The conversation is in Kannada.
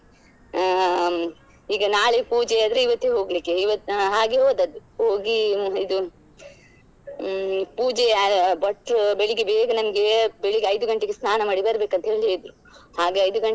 ಹ್ಮ್‌ ಈಗ ನಾಳೆ ಪೂಜೆ ಆದ್ರೆ ಇವತ್ತೇ ಹೋಗ್ಲಿಕ್ಕೆ ಇವತ್ತ್ ಹ ಹಾಗೆ ಹೋದದ್ದು ಹೋಗಿ ಇದು ಹ್ಮ್‌ ಪೂಜೆಯ ಭಟ್ರು ಬೆಳಿಗ್ಗೆ ಬೇಗ ನಮ್ಗೆ ಎಬ್ಬಿ~ ಬೆಳಿಗ್ಗೆ ಐದು ಗಂಟೆಗೆ ಸ್ನಾನ ಮಾಡಿ ಬರ್ಬೇಕಂತ ಹಾಗೆ ಐದು ಗಂಟೆಗೆ.